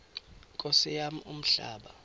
nkosi yam umhlaba